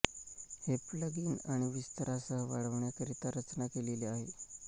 हे प्लगइन आणि विस्तारासह वाढविण्याकरिता रचना केलेली आहे